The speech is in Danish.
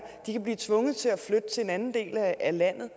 de kan blive tvunget til at flytte til en anden del af landet